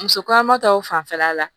Muso kɔnɔma tɔw fanfɛla la